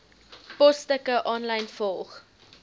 posstukke aanlyn volg